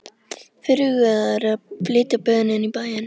Fyrirhugað er að flytja böðin inn í bæinn.